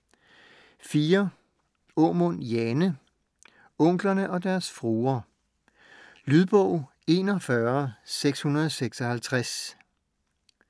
Aamund, Jane: Onklerne og deres fruer Lydbog 41656